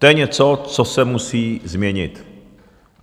To je něco, co se musí změnit.